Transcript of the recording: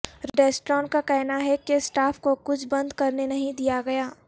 restaurant کا کہنا ہے کہ سٹاف کو کچھ بند کرنے نہیں دیا گیا